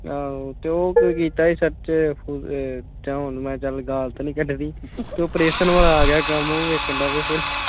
ਆਹੋ ਤੇ ਉਹ ਕੀਤਾ ਸੀ search ਤੇ ਚੱਲ ਹੁਣ ਮੈਂ ਗਾਲ ਤਾਂ ਨੀ ਕੱਢਣੀ ਤੇ operation ਵਾਲਾ ਆਗਿਆ ਕੰਮ ਉਹ ਵੇਖਣ ਬਹਿ ਗਿਆ।